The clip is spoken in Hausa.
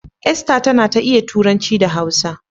Esther tana ta iya Turanci da Hausa.